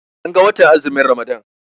An ga watan azumin Ramadan.